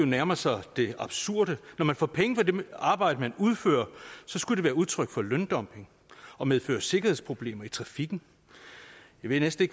nærmer sig det absurde når man får penge for det arbejde man udfører så skulle det være udtryk for løndumping og medføre sikkerhedsproblemer i trafikken jeg ved næsten